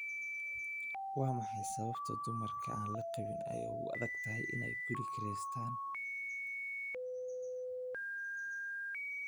Waa maxay sababta dumarka aan la qabin ay ugu adag tahay inay guri kiraystaan?